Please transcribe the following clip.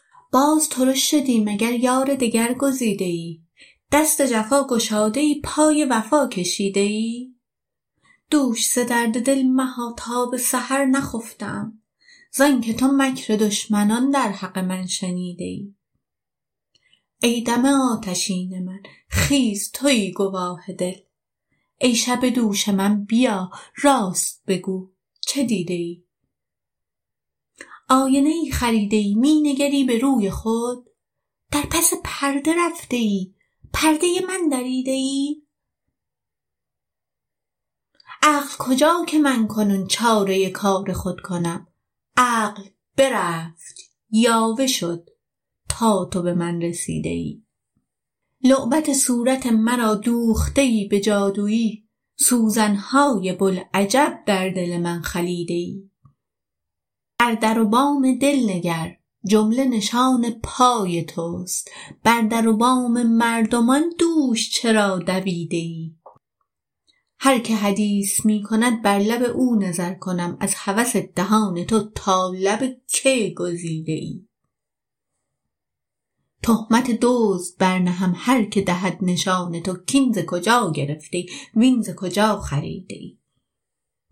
باز ترش شدی مگر یار دگر گزیده ای دست جفا گشاده ای پای وفا کشیده ای دوش ز درد دل مها تا به سحر نخفته ام ز آنک تو مکر دشمنان در حق من شنیده ای ای دم آتشین من خیز توی گواه دل ای شب دوش من بیا راست بگو چه دیده ای آینه ای خریده ای می نگری به روی خود در پس پرده رفته ای پرده من دریده ای عقل کجا که من کنون چاره کار خود کنم عقل برفت یاوه شد تا تو به من رسیده ای لعبت صورت مرا دوخته ای به جادوی سوزن های بوالعجب در دل من خلیده ای بر در و بام دل نگر جمله نشان پای توست بر در و بام مردمان دوش چرا دویده ای هر کی حدیث می کند بر لب او نظر کنم از هوس دهان تو تا لب کی گزیده ای تهمت دزد برنهم هر کی دهد نشان تو کاین ز کجا گرفته ای وین ز کجا خریده ای